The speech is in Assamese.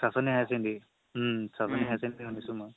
Chanchani higher secondary um Chanchani higher secondary শুনিছো মই